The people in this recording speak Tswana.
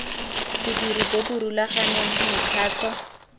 bodiri bo bo rulaganeng mekgatlho